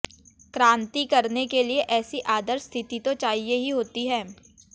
क्रांति करने के लिए ऐसी आदर्श स्थिति तो चाहिए ही होती है